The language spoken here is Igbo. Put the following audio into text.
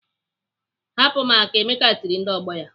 "Hapụ m aka!" Emeka tiri ndị ọgbọ ya.